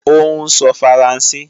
Ó ń sọ Faransé